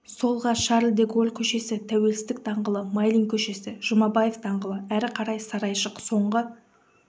солға шарль де голль көшесі тәуелсіздік даңғылы майлин көшесі жұмабаев даңғылы әрі қарай сарайшық соңғы